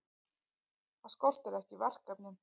Það skortir ekki verkefnin.